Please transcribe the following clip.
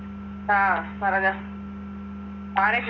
ആഹ് പറഞ്ഞൊ